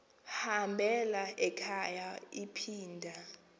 hambela ekhaya iphinda